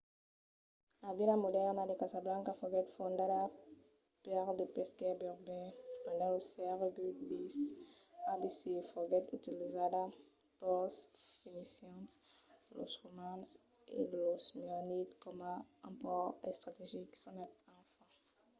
la vila modèrna de casablanca foguèt fondada per de pescaires berbèrs pendent lo sègle x abc e foguèt utilizada pels fenicians los romans e los merenids coma un pòrt estrategic sonat anfa